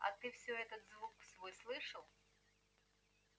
а ты всё этот звук свой слышал